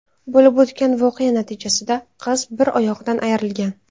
Bo‘lib o‘tgan voqea natijasida qiz bir oyog‘idan ayrilgan.